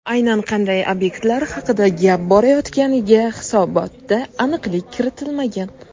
Aynan qanday obyektlar haqida gap borayotganiga hisobotda aniqlik kiritilmagan.